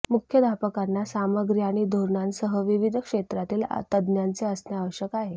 मुख्याध्यापकांना सामग्री आणि धोरणांसह विविध क्षेत्रातील तज्ञांचे असणे आवश्यक आहे